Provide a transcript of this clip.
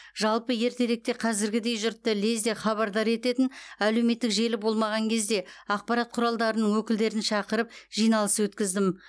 жалпы ертеректе қазіргідей жұртты лезде хабардар ететін әлеуметтік желі болмаған кезде ақпарат құралдарының өкілдерін шақырып жиналыс өткіздім